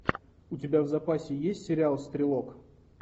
у тебя в запасе есть сериал стрелок